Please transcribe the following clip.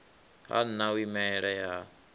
ha nha u imelela ha